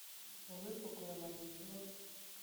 выпуклый маникюр